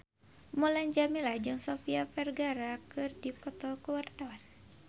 Mulan Jameela jeung Sofia Vergara keur dipoto ku wartawan